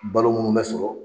Balo munnu bɛ sɔrɔ